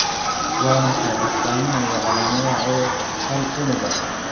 Waa maxay astamaha iyo calaamadaha cudurka hal unugga?